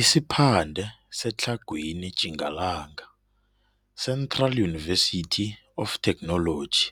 Isiphande seTlhagwini Tjingalanga, "Central University of Technology,